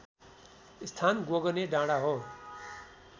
स्थान गोगने डाँडा हो